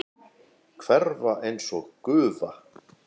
Hverfa einsog gufa.